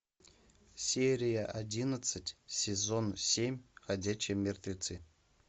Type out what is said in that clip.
серия одиннадцать сезон семь ходячие мертвецы